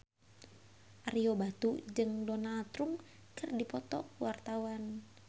Ario Batu jeung Donald Trump keur dipoto ku wartawan